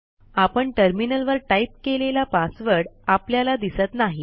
आपण टर्मिनलवर टाईप केलेला पासवर्ड आपल्याला दिसत नाही